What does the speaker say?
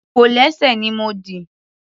Kòlẹ́sẹ̀ ni mo dì.